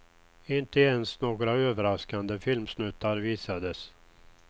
Inte ens några överraskande filmsnuttar visades.